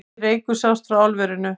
Mikill reykur sást frá álverinu